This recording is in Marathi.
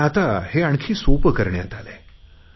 पण आता हे आणखी सोपे करण्यात आले आहे